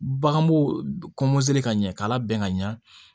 Baganbo ka ɲɛ k'a labɛn ka ɲɛ